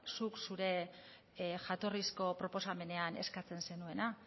zuk zure jatorrizko proposamenean eskatzen zenuena